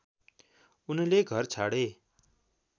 उनले घर छाडे